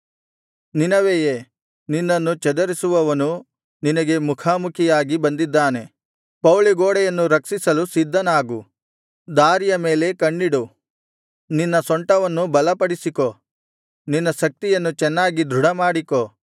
ನಿನವೆಯೇ ನಿನ್ನನ್ನು ಚದರಿಸುವವನು ನಿನಗೆ ಮುಖಾಮುಖಿಯಾಗಿ ಬಂದಿದ್ದಾನೆ ಪೌಳಿಗೋಡೆಯನ್ನು ರಕ್ಷಿಸಲು ಸಿದ್ಧನಾಗು ದಾರಿಯ ಮೇಲೆ ಕಣ್ಣಿಡು ನಿನ್ನ ಸೊಂಟವನ್ನು ಬಲಪಡಿಸಿಕೋ ನಿನ್ನ ಶಕ್ತಿಯನ್ನು ಚೆನ್ನಾಗಿ ದೃಢಮಾಡಿಕೋ